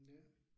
Ja